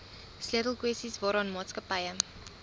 sleutelkwessies waaraan maatskappye